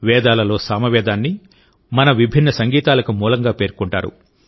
వేదాలలోసామవేదాన్ని మన విభిన్న సంగీతాలకు మూలంగా పేర్కొంటారు